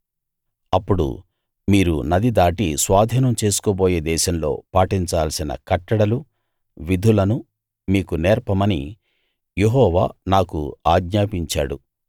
అప్పుడు మీరు నది దాటి స్వాధీనం చేసుకోబోయే దేశంలో పాటించాల్సిన కట్టడలు విధులను మీకు నేర్పమని యెహోవా నాకు ఆజ్ఞాపించాడు